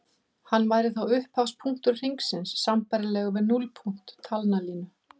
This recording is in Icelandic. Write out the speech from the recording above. Hann væri þá upphafspunktur hringsins sambærilegur við núllpunkt talnalínu.